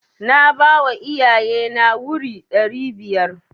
Na bawa iyaye na wuri ɗari biyar.